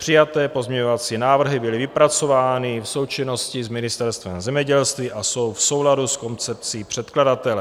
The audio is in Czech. Přijaté pozměňovací návrhy byly vypracovány v součinnosti s Ministerstvem zemědělství a jsou v souladu s koncepcí předkladatele.